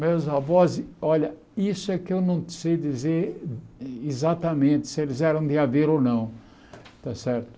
Meus avós, olha, isso é que eu não sei dizer exatamente se eles eram de Aveiro ou não, tá certo?